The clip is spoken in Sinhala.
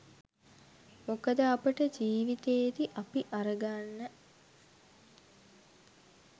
මොකද අපට ජීවිතේදි අපි අරගන්න